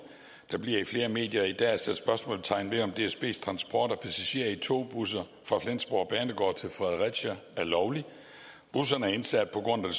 der bliver i flere medier i dag sat spørgsmålstegn ved om dsbs transport af passagerer i togbusser fra flensborg banegård til fredericia er lovlig busserne er indsat på grund af